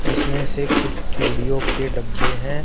जिसमें से कुछ चूड़ियों के डब्बे हैं।